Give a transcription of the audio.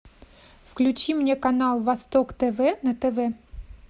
включи мне канал восток тв на тв